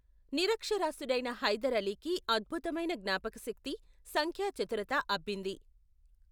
నిరక్షరాస్యుడైన హైదర్ అలీకి అద్భుతమైన జ్ఞాపకశక్తి, సంఖ్యా చతురత అబ్బింది.